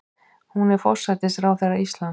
Hún er forsætisráðherra Íslands.